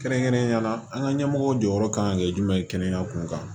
Kɛrɛnkɛrɛnnenya la an ka ɲɛmɔgɔw jɔyɔrɔ kan ka kɛ jumɛn ye kɛnɛya kunkan